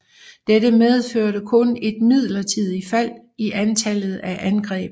Dette medførte kun et midlertidigt fald i antallet af angreb